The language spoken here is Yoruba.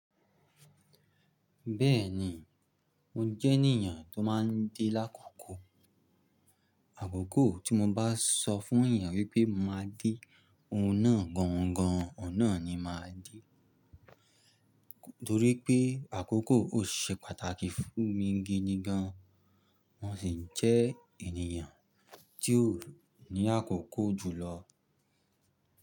Bẹ́ẹ̀ni, mo jẹ́ ènìyàn tó má ń de l’ákòkò. Àkókò tí mo bá sọ fún ènìyàn wípé máa dé oun náà gangan, oun náà ni màá dé, torípé àkókò ò ṣe pàtàkì fún mi gidi gan. Mo sì jẹ́ ènìyàn tí ó ní àkókò jùlọ.